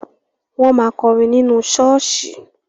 Wọ́n máa kọrin nínú ṣọ́ọ̀ṣì.